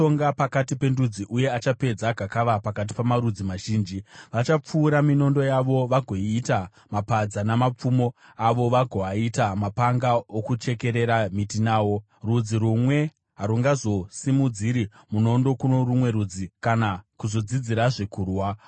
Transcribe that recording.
Achatonga pakati pendudzi uye achapedza gakava pakati pamarudzi mazhinji. Vachapfura minondo yavo vagoiita miromo yamagejo, namapfumo avo vagoaita mapanga okuchekerera miti nawo. Rudzi rumwe harungazosimudziri munondo kuno rumwe rudzi, kana kuzodzidzirazve kurwa.